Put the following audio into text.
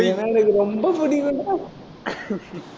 நீயின்னா எனக்கு ரொம்ப புடிக்கும்டா